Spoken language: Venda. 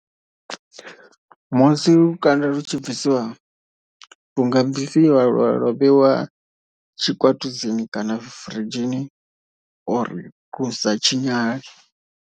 Musi lukanda lu tshi bvisiwa lu nga bvisiwa lwa vheiwa tshikwatudzini kana firidzhini uri lu sa tshinyale.